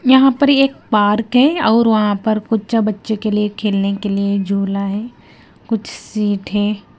यहां पर एक पार्क है और वहां पर कुछ बच्चों के लिए खेलने के लिए झूला है कुछ सीट है।